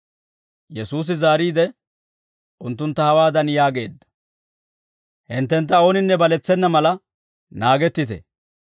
Yesuusi zaariide, unttuntta hawaadan yaageedda; «Hinttentta ooninne baletsena mala naagettite.